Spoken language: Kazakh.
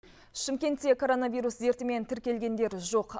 шымкентте коронавирус дертімен тіркелгендер жоқ